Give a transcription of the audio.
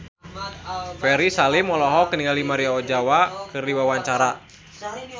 Ferry Salim olohok ningali Maria Ozawa keur diwawancara